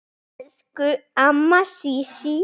Elsku amma Sísí.